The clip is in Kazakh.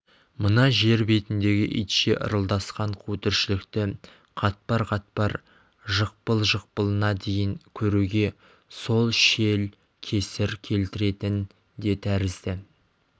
мына жер бетіндегі итше ырылдасқан қу тіршілікті қатпар-қатпар жықпыл-жықпылына дейін көруге сол шел кесір келтіретін де тәрізді